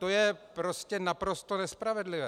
To je prostě naprosto nespravedlivé.